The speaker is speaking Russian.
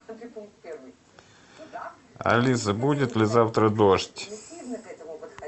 алиса будет ли завтра дождь